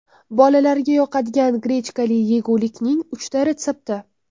Bolalarga yoqadigan grechkali yegulikning uchta retsepti.